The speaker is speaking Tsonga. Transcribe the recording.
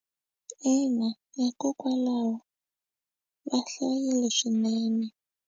Ina hikokwalaho va hlayile swinene.